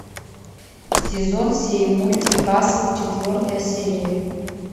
сезон семь мультик касл четвертая серия